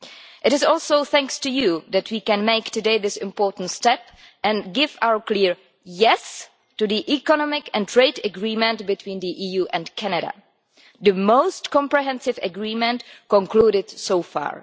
It is also thanks to you that we can today take this important step and give our clear yes' to the economic and trade agreement between the EU and Canada, the most comprehensive agreement concluded so far.